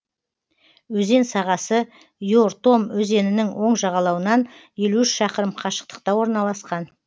өзен сағасы ертом өзенінің оң жағалауынан елу үш шақырым қашықтықта орналасқан